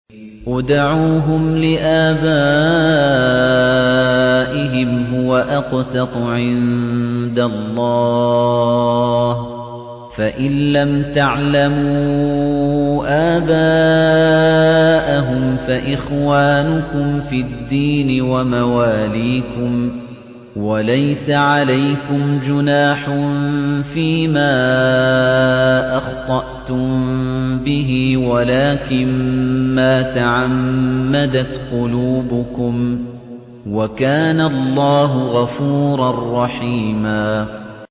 ادْعُوهُمْ لِآبَائِهِمْ هُوَ أَقْسَطُ عِندَ اللَّهِ ۚ فَإِن لَّمْ تَعْلَمُوا آبَاءَهُمْ فَإِخْوَانُكُمْ فِي الدِّينِ وَمَوَالِيكُمْ ۚ وَلَيْسَ عَلَيْكُمْ جُنَاحٌ فِيمَا أَخْطَأْتُم بِهِ وَلَٰكِن مَّا تَعَمَّدَتْ قُلُوبُكُمْ ۚ وَكَانَ اللَّهُ غَفُورًا رَّحِيمًا